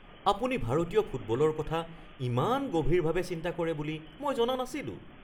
আপুনি ভাৰতীয় ফুটবলৰ কথা ইমান গভীৰভাৱে চিন্তা কৰে বুলি মই জনা নাছিলোঁ।